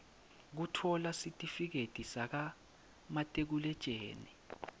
kutfola sitifiketi sakamatikuletjeni